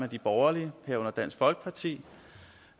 de borgerlige herunder dansk folkeparti